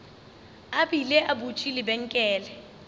a bile a butše lebenkele